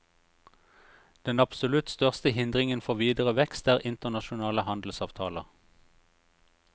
Den absolutt største hindringen for videre vekst er internasjonale handelsavtaler.